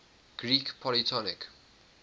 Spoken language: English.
greek polytonic